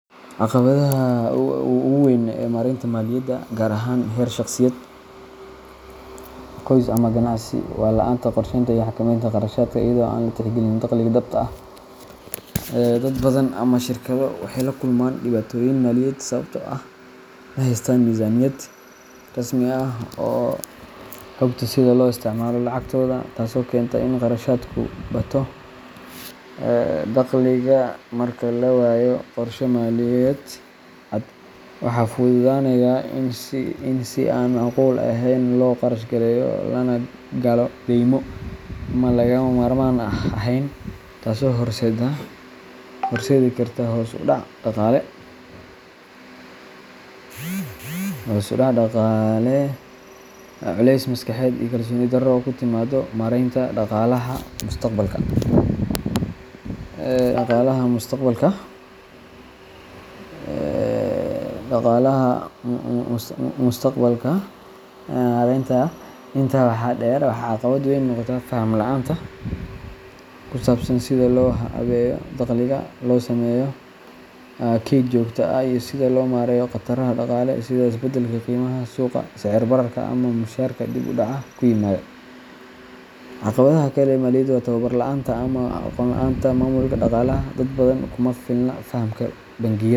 Caqabadda ugu weyn ee maareynta maaliyadda, gaar ahaan heer shaqsiyeed, qoys ama ganacsi, waa la’aanta qorsheynta iyo xakameynta kharashaadka iyadoo aan la tixgelin dakhliga dhabta ah. Dad badan ama shirkado waxay la kulmaan dhibaatooyin maaliyadeed sababtoo ah ma haystaan miisaaniyad rasmi ah oo hagta sida loo isticmaalo lacagtooda, taasoo keenta in kharashaadku ka bato dakhliga. Marka la waayo qorshe maaliyadeed cad, waxaa fududaanaya in si aan macquul ahayn loo kharash gareeyo, lana galo deymo aan lagama maarmaan ahayn, taasoo horseedi karta hoos u dhac dhaqaale, culays maskaxeed iyo kalsooni darro ku timaadda maareynta dhaqaalaha mustaqbalka. Intaa waxaa dheer, waxaa caqabad weyn noqda faham la’aanta ku saabsan sida loo habeeyo dakhliga, loo sameeyo kayd joogto ah, iyo sida loo maareeyo khataraha dhaqaale sida isbeddelka qiimaha suuqa, sicir bararka, ama mushaharka oo dib u dhac ku yimaado. Caqabadda kale ee maaliyadeed waa tababar la’aanta ama aqoon la’aanta dhanka maamulka dhaqaalaha dad badan kuma filna fahamka bangiyada.